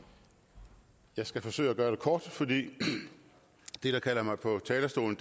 jeg skal forsøge at gøre det kort fordi det der kalder mig på talerstolen